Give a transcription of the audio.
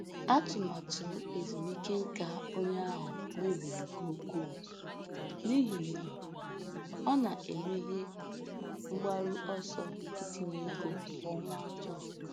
Atụmatụ ezumike nká onye ahụ mebiri nke ukwuu n’ihi na ọ na-emehie mgbaru ọsọ itinye ego kwa ọnwa atọ.